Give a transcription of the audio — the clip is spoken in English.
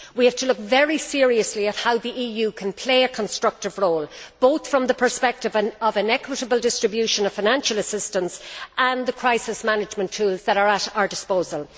We have to look very seriously at how the EU can play a constructive role, both from the perspective of an equitable distribution of financial assistance and the crisis management tools that are at our disposal.